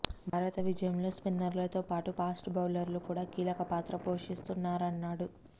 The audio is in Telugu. భారత విజయంలో సిన్నర్లతో పాటు ఫాస్ట్ బౌలర్లు కూడా కీలక పాత్ర పోషిస్తున్నారన్నాడు